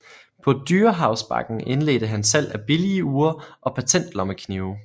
På Dyrehavsbakken indledte han salg af billige ure og patentlommeknive